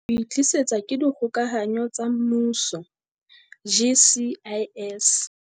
O e tlisetswa ke Dikgokahano tsa Mmuso, GCIS.